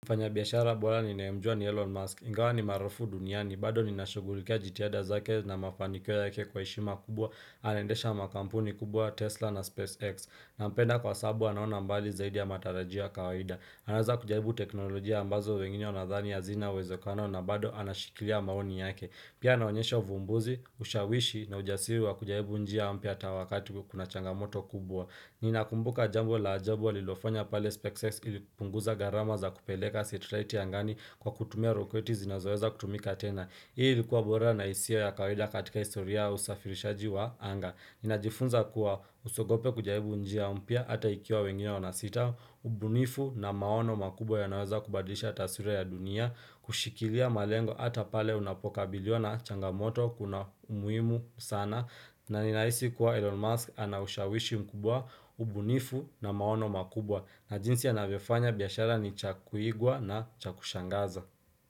Mfanya biashara bora ninayemjua ni Elon Musk, ingawa ni maarufu duniani, bado ninashughulikia jitihada zake na mafanikio yake kwa heshima kubwa, anaendesha makampuni kubwa Tesla na SpaceX, nampenda kwa sababu anaona mbali zaidi ya matarajio ya kawaida. Anaweza kujaribu teknolojia ambazo wengine wanadhani hazina uwezekano na bado anashikilia maoni yake. Pia anaonyesha uvumbuzi, ushawishi na ujasiri wa kujaribu njia mpya hata wakati kuna changamoto kubwa. Ninakumbuka jambo la ajabu alilofanya pale SpaceX ilipunguza gharama za kupeleka setlaiti angani kwa kutumia roketi zinazoweza kutumika tena Hii ilikuwa bora na isio ya kawaida katika historia au usafirishaji wa anga Ninajifunza kuwa usiigope kujaribu njia mpya ata ikiwa wengine wanasita ubunifu na maono makubwa yanaweza kubadisha taswira ya dunia Kushikilia malengo hata pale unapokabiliwa na changamoto kuna umuhimu sana na ninahisi kuwa Elon Musk anaushawishi mkubwa, ubunifu na maono makubwa na jinsi anavyofanya biashara ni cha kuigwa na cha kushangaza.